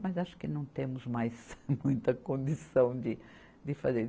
Mas acho que não temos mais muita condição de, de fazer.